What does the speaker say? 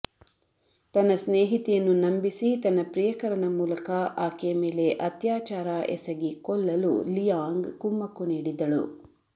ತನ್ನ ಸ್ನೇಹಿತೆಯನ್ನು ನಂಬಿಸಿ ತನ್ನ ಪ್ರಿಯಕರನ ಮೂಲಕ ಆಕೆಯ ಮೇಲೆ ಅತ್ಯಾಚಾರ ಎಸಗಿ ಕೊಲ್ಲಲು ಲಿಯಾಂಗ್ ಕುಮ್ಮಕ್ಕು ನೀಡಿದ್ದಳು